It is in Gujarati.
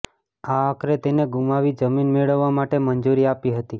આ આખરે તેને ગુમાવી જમીન મેળવવા માટે મંજૂરી આપી હતી